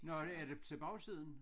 Nåh er er det til bagsiden